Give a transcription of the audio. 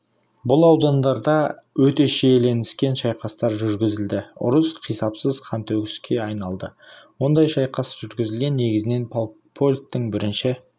бұл аудандарда өте шиеленіскен шайқастар жүргізілді ұрыс қисапсыз қантөгіске айналды онда шайқас жүргізген негізінен полктің бірінші